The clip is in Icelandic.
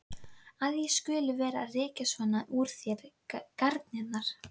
Að ég skuli vera að rekja svona úr þér garnirnar!